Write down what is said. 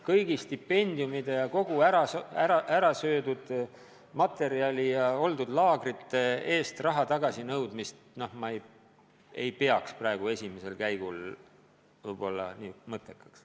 Kõigi stipendiumide ja kogu ära söödud toidu ja üldse laagrite eest raha tagasi nõudmist ma ei pea praegu esimese hooga mõttekaks.